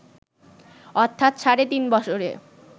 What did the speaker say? অর্থাৎ সাড়ে তিন বছরে